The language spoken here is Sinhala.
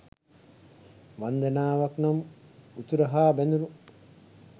වන්දනාවක් නම් උතුර හා බැඳුණු